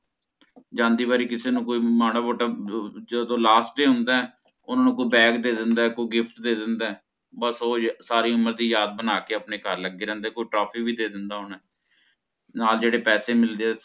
ਜਾਂਦੀ ਵਾਰੀ ਕਿਸੇ ਨੂੰ ਕੋਈ ਮਾੜਾ ਮੋਟਾ ਜਦੋਂ Last day ਹੁੰਦਾ ਹੈ ਓਹਨਾ ਨੂੰ ਕੋਈ Bag ਦੇ ਦਿੰਦਾ ਹੈ ਕੋਈ gift ਦੇ ਦਿੰਦਾ ਹੈ ਬਸ ਓਹ ਸਾਰੀ ਉਮਰ ਦੀ ਯਾਦ ਬਣਾਕੇ ਆਪਣੇ ਘਰ ਲੱਗੇ ਰਹਿੰਦੇ ਕੋਈ trophy ਦੇ ਦਿੰਦਾ ਹੋਣਾ ਆ। ਨਾਲ ਜਿਹੜੇ ਪੈਸੇ ਮਿਲਦੇ ਆ